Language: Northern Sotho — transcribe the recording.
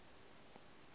le ya koto e a